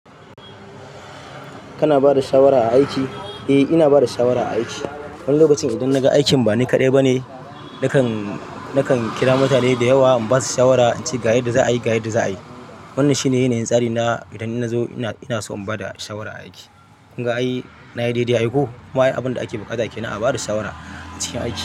Kana bada shawara a aiki? Eh ina bada shawara a aiki. Wani lokaci idan na ga aikin ba ni kaɗai ba ne, nakan, nakan kira mutane da yawa in basu shawara in ce ga yanda za'a yi, ga yanda za'a yi. Wannan shi ne yanayin tsari na idan ina so in zo in bada shawara a aiki. Kun ga ai, na yi daidai ko ma a yi abin da ake buƙata ke, ina bada shawara a cikin aiki.